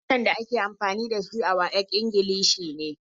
Harshen da ake amfani da shi a WAEC Ingilishi ne.